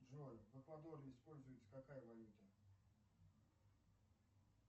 джой в эквадоре используется какая валюта